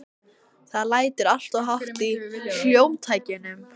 Það lætur alltof hátt í hljómtækjunum.